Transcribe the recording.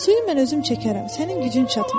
Suyu mən özüm çəkərəm, sənin gücün çatmaz.